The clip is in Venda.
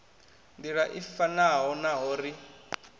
nḓila i fanaho naho ri